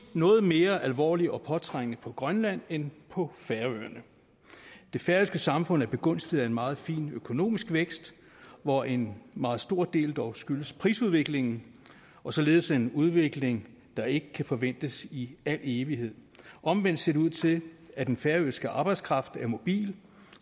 noget mere alvorligt og påtrængende på grønland end på færøerne det færøske samfund er begunstiget af en meget fin økonomisk vækst hvoraf en meget stor del dog skyldes prisudviklingen og således er en udvikling der ikke kan forventes i al evighed omvendt ser det ud til at den færøske arbejdskraft er mobil